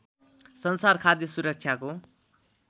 संसार खाद्य सुरक्षाको